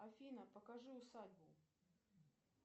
афина покажи усадьбу